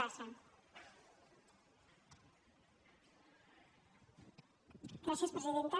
gràcies presidenta